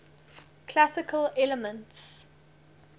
classical elements